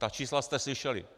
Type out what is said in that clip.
Ta čísla jste slyšeli.